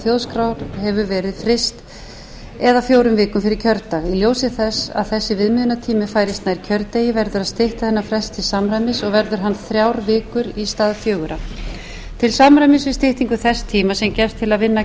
þjóðskrár hefur verið fryst eða fjórum vikum fyrir kjördag í ljósi þess að þessi viðmiðunartími færist nær kjördegi verður að stytta þennan frest til samræmis og verður hann þrjár vikur í stað fjögurra til samræmis við styttingu þess tíma sem gefst til að vinna